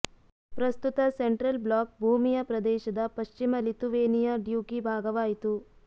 ಪ್ರಸ್ತುತ central block ಭೂಮಿಯ ಪ್ರದೇಶದ ಪಶ್ಚಿಮ ಲಿಥುವೇನಿಯಾ ಡ್ಯೂಕಿ ಭಾಗವಾಯಿತು